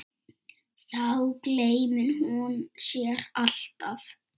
Þá gleymir hún sér alltaf.